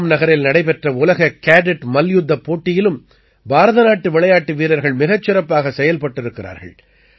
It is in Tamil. ரோம் நகரில் நடைபெற்ற உலக கேடட் மல்யுத்தப் போட்டியிலும் பாரத நாட்டு விளையாட்டு வீரர்கள் மிகச் சிறப்பாகச் செயல்பட்டிருக்கிறார்கள்